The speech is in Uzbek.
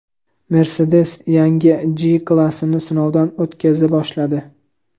Mercedes yangi G-Class’ni sinovdan o‘tkaza boshladi.